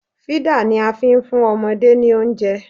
Fídà ni a fi ń fún ọmọdé ní oúnjẹ